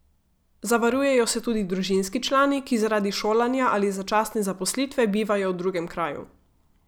Zavarujejo se tudi družinski člani, ki zaradi šolanja ali začasne zaposlitve bivajo v drugem kraju.